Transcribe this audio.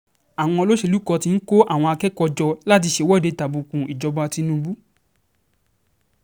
àwọn olóṣèlú kan ti ń kó àwọn akẹ́kọ̀ọ́ jọ láti ṣèwọ́de tàbùku ìjọba tinubu